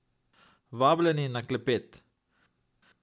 Vabljeni na klepet!